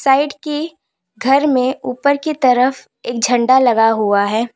Side की घर में ऊपर की तरफ एक झंडा लगा हुआ है।